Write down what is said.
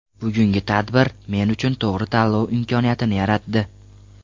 Bugungi tadbir men uchun to‘g‘ri tanlov imkoniyatini yaratdi.